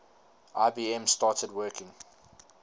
ibm started working